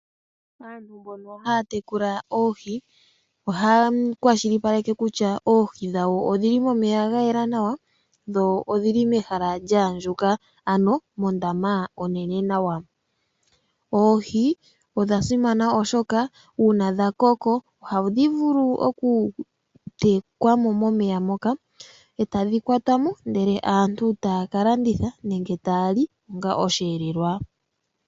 Aantu mboka haya tekula oohi, ohaya kwashilipaleke kutya oohi dhawo odhili momeya ga yela nawa ,dho odhili mehala lya andjuka ,ano mondama onene nawa. Oohi odha simana oshoka uuna dha koko ohadhi vulu oku tekwa mo momeya mpoka, e tadhi kwata mo ndele aantu taya ka landitha nenge taali onga osheelelwa.